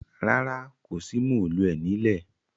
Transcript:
Rárá, kò sí móòluẹ̀ ní lẹ̀.